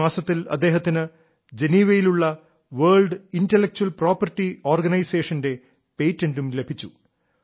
ഈ മാസത്തിൽ അദ്ദേഹത്തിന് ജനീവയിലുള്ള വേൾഡ് ഇന്റലക്ച്വൽ പ്രോപ്പർട്ടി ഓർഗനൈസേഷന്റെ പേറ്റന്റും ലഭിച്ചു